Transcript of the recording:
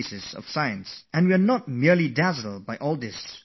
Its impact is overwhelming; we all want to link ourselves to science and technology